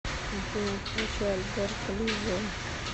афина включи альберто лиззио